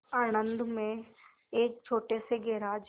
आणंद में एक छोटे से गैराज